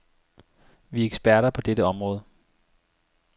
Vi er eksperter på dette område.